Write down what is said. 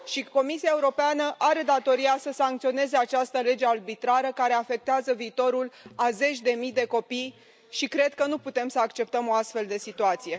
Comisia Europeană are datoria să sancționeze această lege arbitrară, care afectează viitorul a zeci de mii de copii și cred că nu putem să acceptăm o astfel de situație.